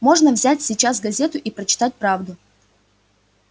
можно взять сейчас газету и прочитать правду